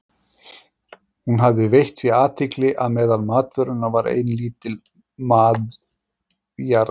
Hún hafði veitt því athygli að meðal matvörunnar var ein lítil mjaðartunna.